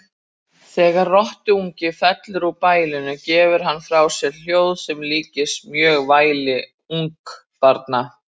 Þegar rottuungi fellur úr bælinu gefur hann frá sér hljóð sem líkist mjög væli ungbarna.